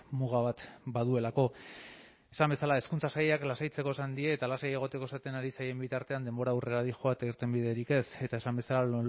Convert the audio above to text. muga bat baduelako esan bezala hezkuntza sailak lasaitzeko esan die eta lasai egoteko esaten ari zaien bitartean denbora aurrera doa eta irtenbiderik ez eta esan bezala